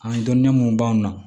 An dɔnni mun b'an na